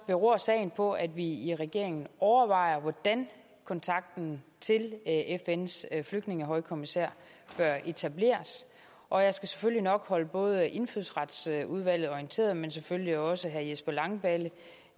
beror sagen på at vi i regeringen overvejer hvordan kontakten til fns flygtningehøjkommissær bør etableres og jeg skal selvfølgelig nok holde både indfødsretsudvalget orienteret men selvfølgelig også herre jesper langballe